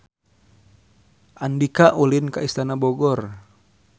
Andika ulin ka Istana Bogor